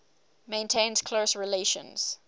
maintains close relations